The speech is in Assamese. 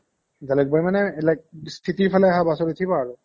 জালোবাৰি মানে like city ৰ ফালে অহা bus ত উঠিবা আৰু